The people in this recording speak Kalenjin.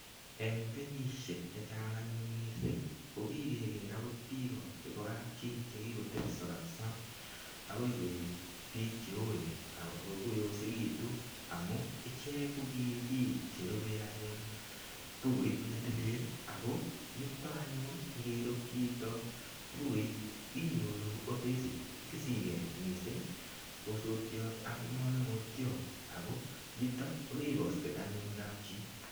Eng kenyisiek che chang anyun mising ko kikeker biik chebo kapchi che kikotepso kapisa agoi koek biik che oen agoi koyosekitun amu ichek ko ki biik che rube anyun Bukuit ne tilil ago yuto anyun ngirup chito Bukuit inyoru otekisigei mising osotiot ak manungotiot ago yutok koribaksei anyun kapchi.